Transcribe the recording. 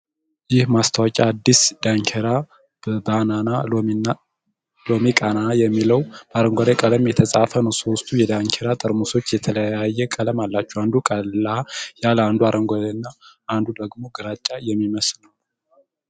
ይህ ማስታወቂያ ነው ። አዲስ ዳንኪራ በናና ሎሚ ቃና የሚለው በአረንጓዴ ቀለም የተጻፈ ነው። ሶስቱም የዳንኪራ ጠርሙሶች የተለያየ ቀለም አላቸው ። አንዱ ቀላ ያለ ፤ አንዱ አረንጓዴ እና አንዱ ደግሞ ግራጫ የሚመስል ነው።